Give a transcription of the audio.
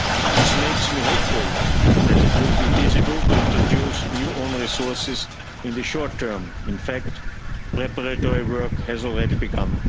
This makes me hopeful that it will be feasible to introduce new own resources in the short term. In fact, preparatory work has already begun.